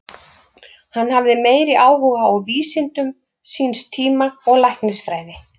Hann hafði meiri áhuga á vísindum síns tíma og læknisfræði.